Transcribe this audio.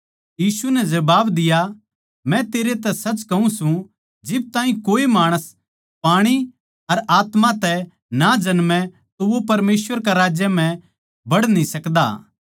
यीशु नै जबाब दिया मै तेरै तै सच कहूँ सूं जिब ताहीं कोए माणस पाणी अर आत्मा तै ना जन्मे तो वो परमेसवर के राज्य म्ह बड़ न्ही सकदा